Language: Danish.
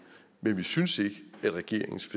men vi synes ikke at regeringens